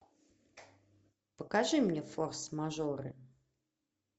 покажи мне форс мажоры